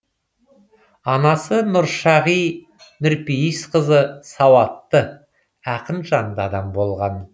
анасы нұршағи нұрпейісқызы сауатты ақынжанды адам болған